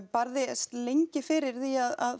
barðist lengi fyrir því að